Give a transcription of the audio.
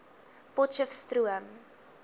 potcheftsroom